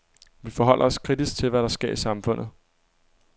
Vi forholder os kritisk til, hvad der sker i samfundet.